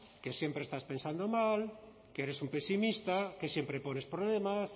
que siempre estás pensando mal que eres un pesimista que siempre pones problemas